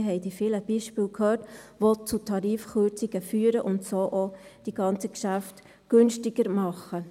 Wir haben die vielen Beispiele gehört, die zu Tarifkürzungen führen und so auch die ganzen Geschäfte günstiger machen.